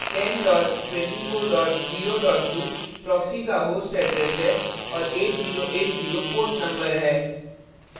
10 24 0 2 proxy का host address है और 8080 port number है